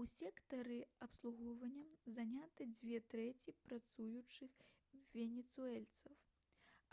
у сектары абслугоўвання заняты дзве трэці працуючых венесуэльцаў